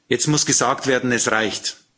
Jetzt muss gesagt werden Es reicht.